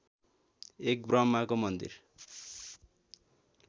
एक ब्रम्हाको मन्दिर